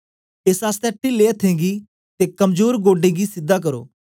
एस आसतै टीले अथ्थें गी ते कमजोर गोडें गी सीधा करो